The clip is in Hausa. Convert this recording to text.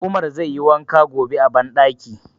Umar zai yi wanka gobe a banɗaki.